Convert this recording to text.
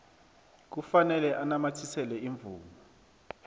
kufanele anamathisele imvumo